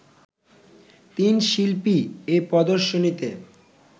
তিন শিল্পী এ প্রদর্শনীতে